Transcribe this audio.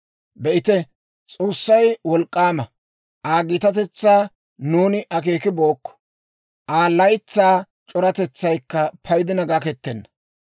Be'ite, S'oossay wolk'k'aama! Aa gitatetsaa nuuni akeekibookko; Aa laytsaa c'oratetsaykka paydina gakettenna.